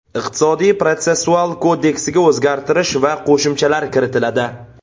Iqtisodiy protsessual kodeksiga o‘zgartish va qo‘shimchalar kiritiladi.